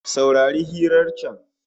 Saurari hirar can